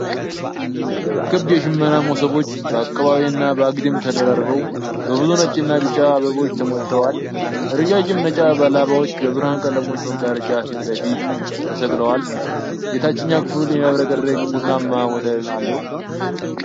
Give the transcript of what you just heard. ክብ የሽመና መሶቦች በአቀባዊና በአግድም ተደራርበው፣ በብዙ ነጭና ቢጫ አበቦች ተሞልተዋል። ረዣዥም ነጭ ላባዎች በብርሃን ቀለሞች መጋረጃ ፊት ለፊት ተሰቅለዋል። የታችኛው ክፍል የሚያብረቀርቅ ቡናማ ወለል አለው።